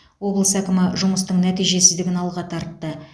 облыс әкімі жұмыстың нәтижесіздігін алға тартты